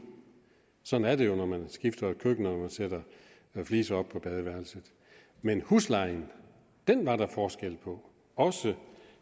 sådan et det jo når man skifter køkken ud og når man sætter fliser op på badeværelset men huslejen var der forskel på også